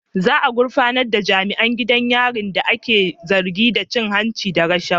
Za a gurfanar da jami'an gidan yarin da ake zargi da cin hanci da rashawa.